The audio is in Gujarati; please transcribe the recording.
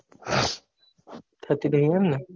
થતી નહિ એમને